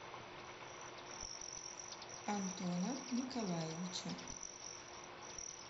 антона николаевича